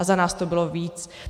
A za nás to bylo víc.